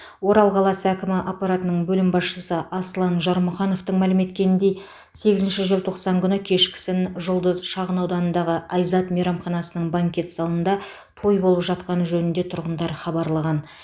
орал қаласы әкімі аппаратының бөлім басшысы аслан жармұхановтың мәлім еткеніндей сегізінші желтоқсан күні кешкісін жұлдыз шағынауданындағы айзат мейрамханасының банкет залында той болып жатқаны жөнінде тұрғындар хабарлаған